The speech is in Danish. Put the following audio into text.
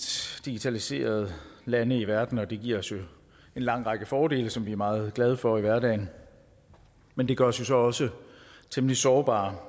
digitaliserede lande i verden og det giver os jo en lang række fordele som vi er meget glade for i hverdagen men det gør os jo så også temmelig sårbare